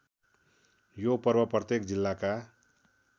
यो पर्व प्रत्येक जिल्लाका